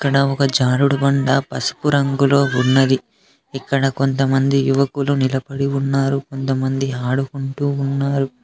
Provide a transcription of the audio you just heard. ఇక్కడ ఒక జారుడు బండ పసుపు రంగులో ఉన్నది ఇక్కడ కొంతమంది యువకులు నిలబడి ఉన్నారు కొంతమంది ఆడుకుంటూ ఉన్నారు.